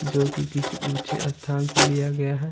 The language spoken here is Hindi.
जो कि किसी ऊंचे स्थान से लिया गया है।